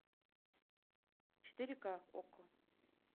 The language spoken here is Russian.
четыре ка окко